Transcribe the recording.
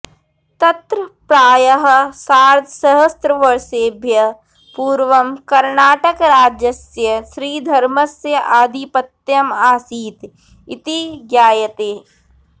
तत्र प्रायः सार्धसहस्रवर्षेभ्यः पूर्वं कर्णाटराजस्य श्रीधर्मस्य आधिपत्यं आसीत् इति ज्ञायते